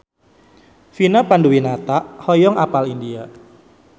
Vina Panduwinata hoyong apal India